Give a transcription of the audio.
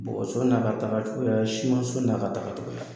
Bɔgɔso n'a ka tagacogoyaya simanso n'a ka tagacogoya